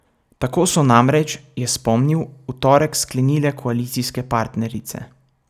Tako so namreč, je spomnil, v torek sklenile koalicijske partnerice.